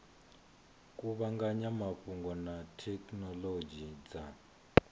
kuvhanganya mafhungo na thekhinolodzhi dza